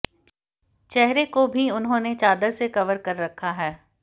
चेहरे को भी उन्होंने चादर से कवर कर रखा है